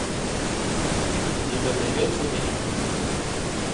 у тебя найдется викинг